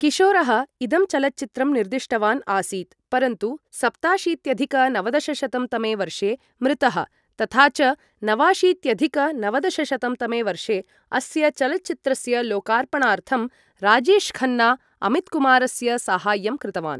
किशोरः इदं चलच्चित्रं निर्दिष्टवान् आसीत्, परन्तु सप्ताशीत्यधिक नवदशशतं तमे वर्षे मृतः तथा च नवाशीत्यधिक नवदशशतं तमे वर्षे अस्य चलच्चित्रस्य लोकार्पणार्थं राजेशखन्ना अमितकुमारस्य साहाय्यं कृतवान्।